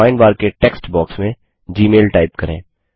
find bar के text box में Gmail type करें